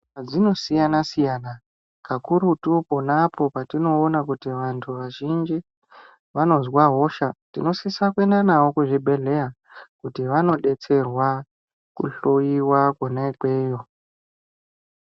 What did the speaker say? Zvinosiyana siyana kakurutu ponapo patinoona kuti vanthu vazhinji vanozwa hosha tinosisa kuenda navo kuzvibhedhleya kuti vanodetserwa kuhloyiwa kona ikweyo.